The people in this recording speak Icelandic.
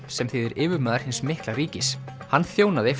sem þýðir yfirmaður hins mikla ríkis hann þjónaði